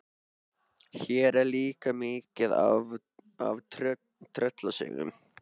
Hér er líka mikið af tröllasögum.